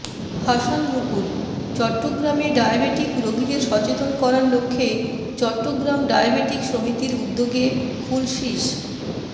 হাসান মুকুলঃ চট্টগ্রামে ডায়াবেটিক রোগীদের সচেতন করার লক্ষ্যে চট্টগ্রাম ডায়াবেটিক সমিতির উদ্যোগে খুলশীস্